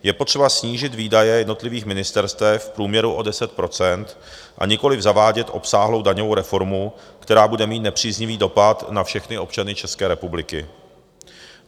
Je potřeba snížit výdaje jednotlivých ministerstev v průměru o 10 %, a nikoliv zavádět obsáhlou daňovou reformu, která bude mít nepříznivý dopad na všechny občany České republiky.